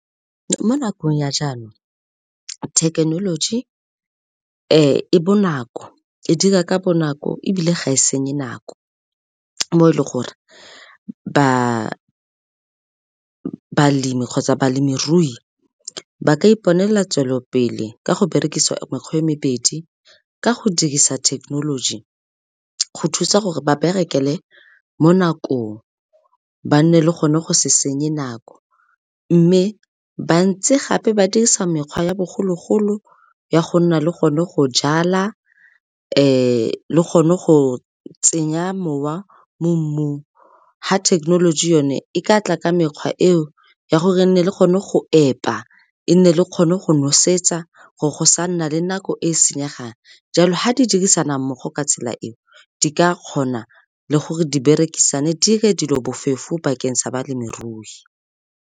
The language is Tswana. Mo nakong ya jaanong, thekenoloji e bonako, e dira ka bonako ebile ga e senye nako, mo e leng gore balemi kgotsa balemirui ba ka iponela tswelopele ka go berekisa mekgwa e mebedi ka go dirisa thekenoloji go thusa gore ba berekele mo nakong, ba nne le gone go se senye nako mme bantse gape ba dirisa mekgwa ya bogologolo ya go nna le gone go jala le gone go tsenya mowa mo mmung ha thekenoloji yone e ka tla ka mekgwa eo ya gore le nne le kgone go epa, e nne le kgone go nosetsa gore go sa nna le nako e senyegang jalo ga di dirisana mmogo ka tsela e di ka kgona le gore di berekisane dire dilo bofefo bakeng sa balemirui.